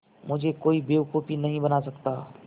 मुझे कोई बेवकूफ़ नहीं बना सकता